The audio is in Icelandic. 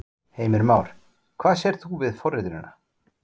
Heimir Már: Hvað sérð þú við forritunina?